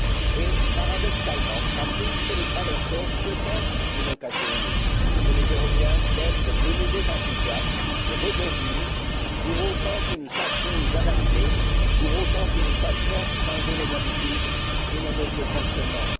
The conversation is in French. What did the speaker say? Et, paradoxalement, la crise que nous traversons peut être une occasion unique pour les Européens d'être de nouveau enthousiastes, de rebondir, pour autant que nous sachions nous adapter, pour autant que nous sachions changer nos habitudes et nos modes de fonctionnement.